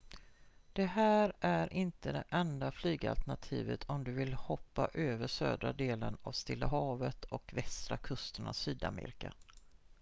det här är inte det enda flygalternativet om du vill hoppa över södra delen av stilla havet och västra kusten av sydamerika